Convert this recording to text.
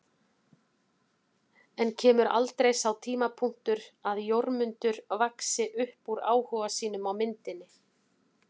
En kemur aldrei sá tímapunktur að Jórmundur vaxi upp úr áhuga sínum á myndinni?